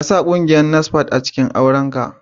Ka sa ran kungiyar NASFAT a cikin auren ka